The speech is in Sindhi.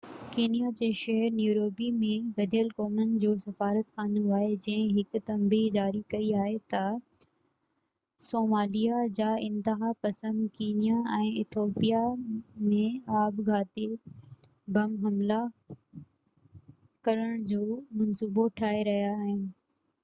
ڪينيا جي شهر نيروبي ۾ گڏيل قومن جو سفارتخانو آهي جنهن هڪ تنبيهہ جاري ڪئي آهي تہ صاموليا جا انتها پسند ڪينيا ۽ ايٿوپيا ۾ آپگهاتي بم حملا ڪرڻ جو منصوبو ٺاهي رهيا آهن